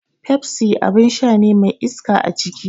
Pepsi abin sha ne mai iska aciki.